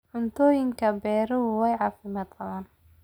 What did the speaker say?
Cuntooyinka beeruhu waa caafimaad qabaan.